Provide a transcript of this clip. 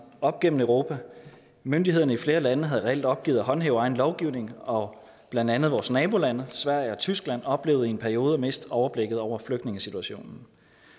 op gennem europa myndighederne i flere lande havde reelt opgivet at håndhæve egen lovgivning og blandt andet vores nabolande sverige og tyskland oplevede i en periode at miste overblikket over flygtningesituationen